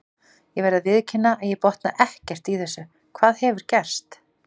Ég verð að viðurkenna að ég botna ekkert í þessu, hvað hefur gerst?